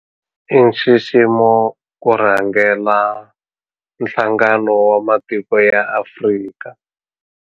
I nxiximo ku rhangela Nhlangano wa Matiko ya Afrika.